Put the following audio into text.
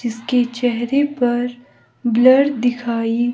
जिसके चेहरे पर ब्लर दिखाई--